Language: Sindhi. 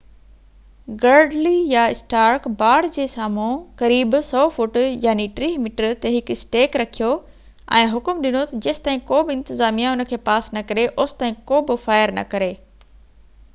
گرڊلي يا اسٽارڪ باڙ جي سامهون قريب 100 فوٽ 30 ميٽر تي هڪ اسٽيڪ رکيو ۽ حڪم ڏنو ته جيستائين ڪوبه انتظاميه ان کي پاس نه ڪري اوستائين ڪو به فائر نه ڪري